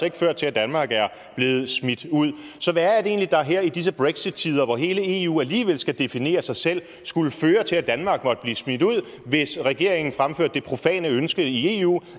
ikke ført til at danmark er blevet smidt ud så hvad er det egentlig der her i disse brexittider hvor hele eu alligevel skal definere sig selv skulle føre til at danmark måtte blive smidt ud hvis regeringen fremførte det profane ønske i eu